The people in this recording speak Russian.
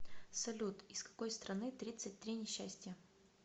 салют из какой страны тридцать три несчастья